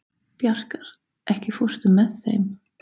Bjarkar, ekki fórstu með þeim?